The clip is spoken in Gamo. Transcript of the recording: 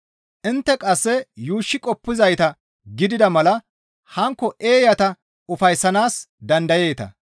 Intte qasse yuushshi qoppizayta gidida mala hankko eeyata ufayssanaas dandayeeta.